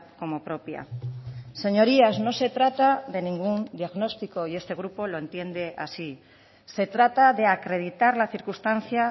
como propia señorías no se trata de ningún diagnóstico y este grupo lo entiende así se trata de acreditar la circunstancia